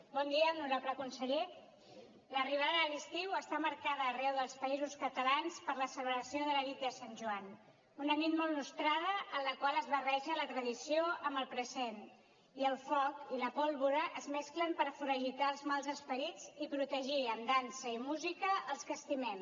bon dia honorable conseller l’arribada de l’estiu està marcada arreu dels països catalans per la celebració de la nit de sant joan una nit molt nostrada en la qual es barreja la tradició amb el present i el foc i la pólvora es mesclen per foragitar els mals esperits i protegir amb dansa i música els que estimem